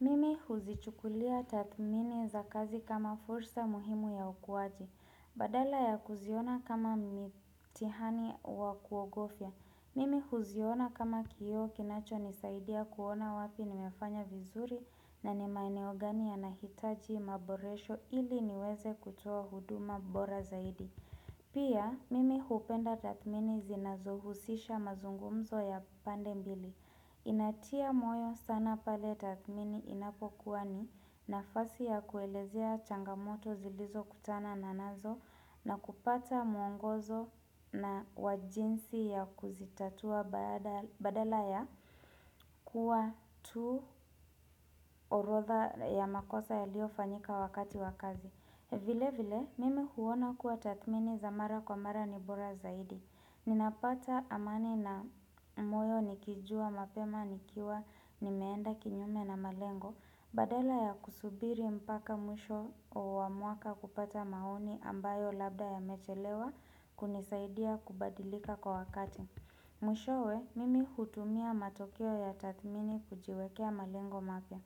Mimi huzichukulia tathmini za kazi kama fursa muhimu ya ukuwaji. Badala ya kuziona kama mitihani wa kuogofya. Mimi huziona kama kioo kinacho nisaidia kuona wapi nimefanya vizuri na ni maeneo gani yanahitaji maboresho ili niweze kutoa huduma bora zaidi. Pia, mimi hupenda tathmini zinazohusisha mazungumzo ya pande mbili. Inatia moyo sana pale tathmini inapokuwa ni nafasi ya kuelezea changamoto zilizo kutanana nazo na kupata mwongozo na wa jinsi ya kuzitatua baada badala ya kuwa tu orodha ya makosa yaliofanyika wakati wa kazi. Vile vile, mimi huona kuwa tathmini za mara kwa mara ni bora zaidi. Ninapata amani na moyo nikijua mapema nikiwa nimeenda kinyume na malengo. Badala ya kusubiri mpaka mwisho wa mwaka kupata maoni ambayo labda yamechelewa kunisaidia kubadilika kwa wakati. Mwishowe, mimi hutumia matokeo ya tathmini kujiwekea malengo mapya.